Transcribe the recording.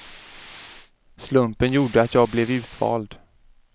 Slumpen gjorde att jag blev utvald.